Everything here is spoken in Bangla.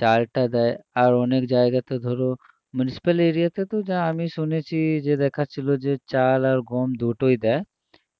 চালটা দেয় আর অনেক জায়গাতে ধরো municipal area তে তো যা আমি শুনেছি যে দেখাচ্ছিল যে চাল আর গম দুটোই দেয়